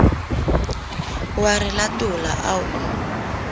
o a re latola o